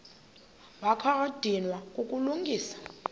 wakha wadinwa kukulungisa